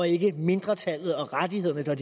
ikke er mindretallet og rettighederne der